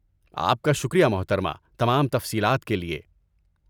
آپ کا شکریہ، محترمہ، تمام تفصیلات کے لیے۔